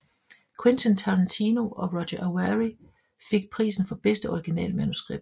Quentin Tarantino og Roger Avary fik prisen for bedste originalmanuskript